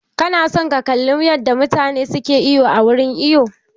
Ka na son ka kalli yadda mutane ke iwo a wurin iwo?